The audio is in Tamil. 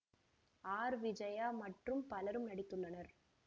ஆர் விஜயா மற்றும் பலரும் நடித்துள்ளனர்